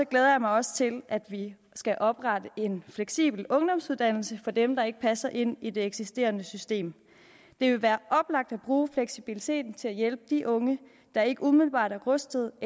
glæder jeg mig også til at vi skal oprette en fleksibel ungdomsuddannelse for dem der ikke passer ind i det eksisterende system det vil være oplagt at bruge fleksibiliteten til at hjælpe de unge der ikke umiddelbart er rustede og